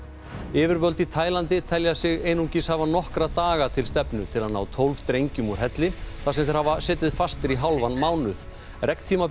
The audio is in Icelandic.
yfirvöld í Taílandi telja sig einungis hafa nokkra daga til stefnu til að ná tólf drengjum úr helli þar sem þeir hafa setið fastir í hálfan mánuð